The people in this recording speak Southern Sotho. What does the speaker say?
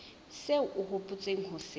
seo o hopotseng ho se